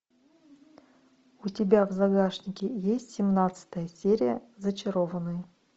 у тебя в загашнике есть семнадцатая серия зачарованные